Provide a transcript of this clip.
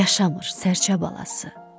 Yaşamır sərçə balası.